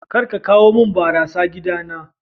Kar a kawo mun barasa a gidana.